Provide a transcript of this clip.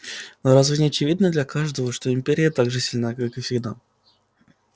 но разве не очевидно для каждого что империя так же сильна как и всегда